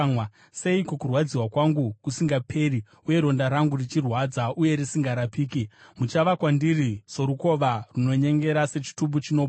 Seiko kurwadziwa kwangu kusingaperi, uye ronda rangu richirwadza uye risingarapiki? Muchava kwandiri sorukova runonyengera, sechitubu chinopwa?